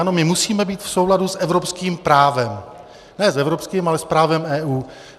Ano, my musíme být v souladu s evropským právem - ne s evropským, ale s právem EU.